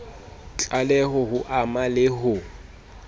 tlaleho ho ama le ho